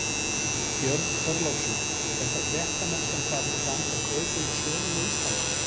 Björn Þorláksson: Er þá fréttamennska farin að ganga kaupum og sölum á Íslandi?